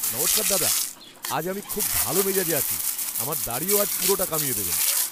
নমস্কার দাদা। আজ আমি খুব ভালো মেজাজে আছি। আমার দাড়িও আজ পুরোটা কামিয়ে দেবেন।